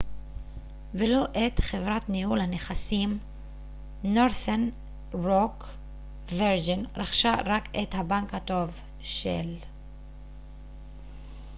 וירג'ין רכשה רק את הבנק הטוב של northern rock ולא את חברת ניהול הנכסים